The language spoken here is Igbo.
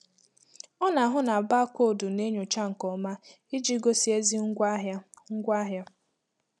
Ọ na-ahụ na baakoodu na-enyocha nke ọma iji gosi ezi ngwaahịa. ngwaahịa.